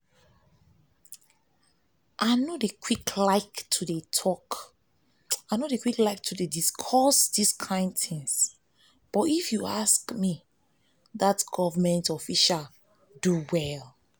i no dey like to dey discuss dis kin thing but if you ask me dat government official do well